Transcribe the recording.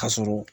Ka sɔrɔ